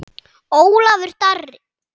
Ólafur Darri.